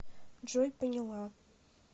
джой поняла